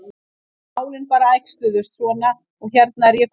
En málin bara æxluðust svona og hérna er ég komin.